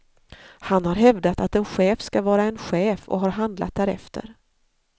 Han har hävdat att en chef skall vara en chef och har handlat därefter.